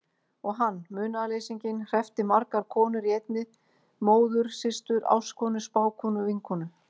Og hann, munaðarleysinginn, hreppti margar konur í einni: móður systur ástkonu spákonu vinkonu.